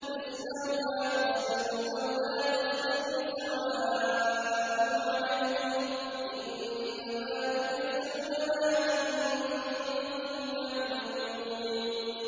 اصْلَوْهَا فَاصْبِرُوا أَوْ لَا تَصْبِرُوا سَوَاءٌ عَلَيْكُمْ ۖ إِنَّمَا تُجْزَوْنَ مَا كُنتُمْ تَعْمَلُونَ